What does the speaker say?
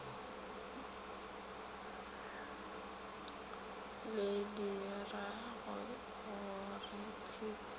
le diragogore t t a